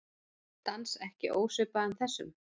Dans ekki ósvipaðan þessum.